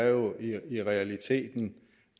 jo i realiteten